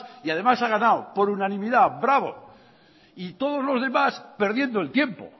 y además ha ganado por unanimidad bravo y todos los demás perdiendo el tiempo